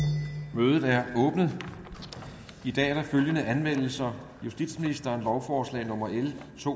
mødet er åbnet i dag er der følgende anmeldelser justitsministeren lovforslag nummer l to